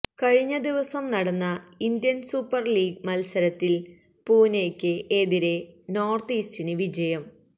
കഴിഞ്ഞദിവസം നടന്ന Indian super league മത്സരത്തില് പുനെയ്ക്ക് എതിരെ നോര്ത്ത് ഈസ്റ്റിന് വിജയം